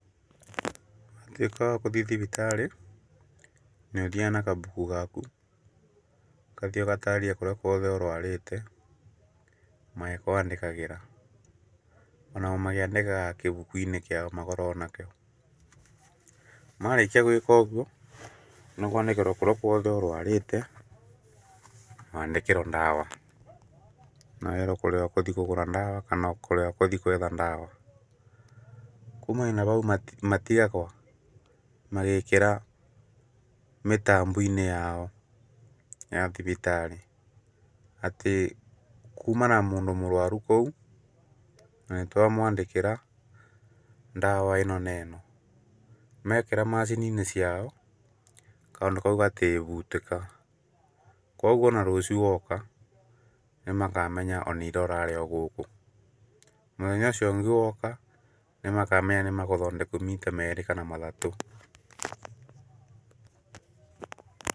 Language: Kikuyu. Watuĩka wakũthii thibitarĩ, nĩũthiaga na kabuku gaku, ũkathii ũgatarĩria kũrĩa ũrwarĩte magĩkwandĩkagĩra onao makĩandĩkaga kĩbukuinĩ kĩao makoragwo nakĩo ,marĩkia gwĩka ũguo, na kwandĩkĩrwa kũrĩa guothe ũrwarĩte ũkandĩkĩkĩrwa ndawa, na wĩrwe kũrĩa ũkũthii kũgũra ndawa kana kũrĩa ũkũthii kwetha ndawa, kumania na hau matigagwo magĩkĩra mĩtamboinĩ yao ya thibitarĩ atĩ kuma na mũndũ mũrwaru kũu na nĩtwamwandĩkĩra ndawa ĩno na ĩno ,mekĩra macininĩ ciao, kaũndũ kao gatĩngĩbutĩka ,kwoguo ona rũcio woka nĩmakamenya ona ira ũrarĩ ogũkũ, mũthenya ũcio ũngĩ woka nĩmakamenya nĩmakũthondeku maita merĩ kana mathatũ.